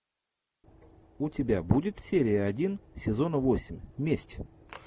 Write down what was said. у тебя будет серия один сезона восемь месть